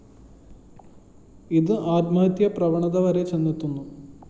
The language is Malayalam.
ഇത് ആത്മഹത്യാ പ്രവണതവരെ ചെന്നെത്തുന്നു